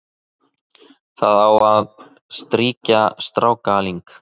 það á að strýkja strákaling